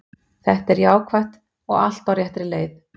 Þetta er jákvætt og allt á réttri leið.